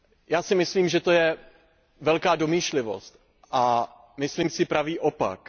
Já si myslím, že to je velká domýšlivost, a myslím si pravý opak.